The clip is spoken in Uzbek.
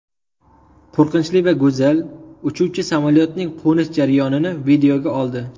Qo‘rqinchli va go‘zal: uchuvchi samolyotning qo‘nish jarayonini videoga oldi .